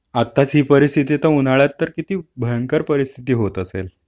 आत्ताच ही परिस्थिति तर उन्हाळ्यात तर किती भयंकर परिस्थिति होत असेल...